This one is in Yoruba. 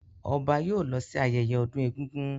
Ọba yóò lọ sí ayẹyẹ ọdún egúngún.